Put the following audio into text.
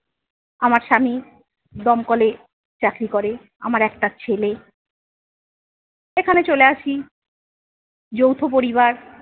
আমার স্বামী দমকলে চাকরি করে। আমার একটা ছেলে। এখানে চলে আসি, যৌথ পরিবার।